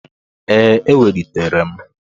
Ee, ewelitere m.